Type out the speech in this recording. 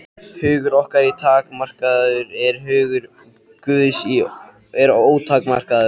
Hugur okkar er takmarkaður, en hugur Guðs er ótakmarkaður.